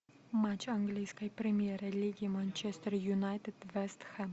матч английской премьер лиги манчестер юнайтед вест хэм